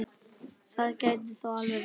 Það gæti þó alveg verið.